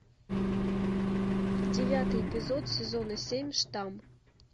девятый эпизод сезона семь штамм